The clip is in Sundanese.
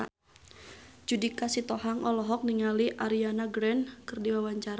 Judika Sitohang olohok ningali Ariana Grande keur diwawancara